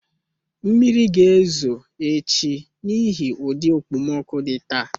Mmiri ga-ezo echi n'ihi ụdị okpomọkụ dị taa